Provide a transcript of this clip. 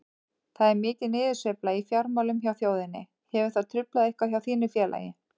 Það er mikil niðursveifla í fjármálum hjá þjóðinni, hefur það truflað eitthvað hjá þínu félagi?